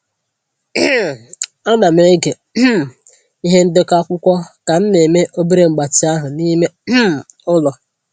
um Ana m ege um ihe ndekọ akwụkwọ ka m na-eme obere mgbatị ahụ n'ime um ụlọ.